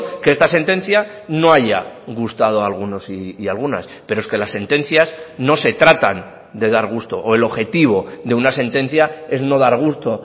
que esta sentencia no haya gustado a algunos y algunas pero es que las sentencias no se tratan de dar gusto o el objetivo de una sentencia es no dar gusto